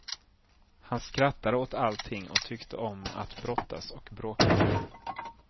Han skrattade åt allting och tyckte om att brottas och bråka.